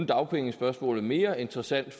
dagpengespørgsmålet mere interessant